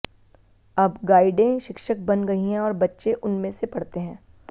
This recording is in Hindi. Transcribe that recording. अब गाइडें शिक्षक बन गई हैं और बच्चे उनमें से पढ़ते हैं